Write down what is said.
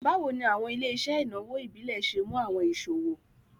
Bawo ni awọn ile-iṣẹ inawo ibile ṣe mu awọn iṣowo?